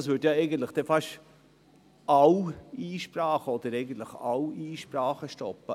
Das würde eigentlich fast alle Einsprachen oder im Grunde alle Einsprachen stoppen.